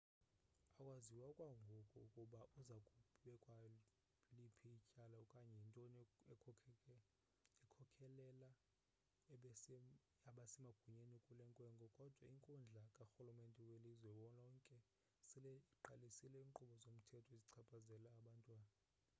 akwaziwa okwangoku ukuba uza kubekwa liphi ityala okanye yintoni ekhokhelele abasemagunyeni kule nkwenkwe kodwa inkundla karhulumente welizwe lonke sele iqalise iinkqubo zomthetho ezichaphazela abantwana